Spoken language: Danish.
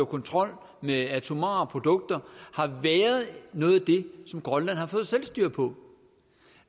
kontrol med atomare produkter har været noget som grønland har fået selvstyre på